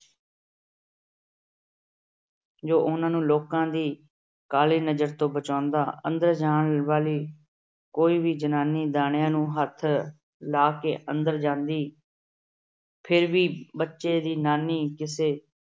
ਜੋ ਉਹਨਾਂ ਨੂੰ ਲੋਕਾਂ ਦੀ ਕਾਲੀ ਨਜਰ ਤੋਂ ਬਚਾਉਂਦਾ। ਅੰਦਰ ਜਾਣ ਵਾਲੀ ਕੋਈ ਵੀ ਜਨਾਨੀ ਦਾਣਿਆਂ ਨੂੰ ਹੱਥ ਲਾ ਕੇ ਅੰਦਰ ਜਾਂਦੀ ਫਿਰ ਵੀ ਬੱਚੇ ਦੀ ਨਾਨੀ ਕਿਸੇ